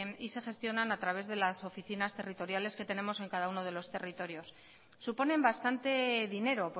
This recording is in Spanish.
y se gestionan a través de las oficinas territoriales que tenemos en cada uno de los territorios suponen bastante dinero